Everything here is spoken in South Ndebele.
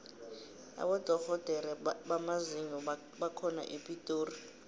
abodorhodere bamazinyo bakhona epitori